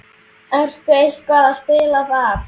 Ertu eitthvað að spila þar?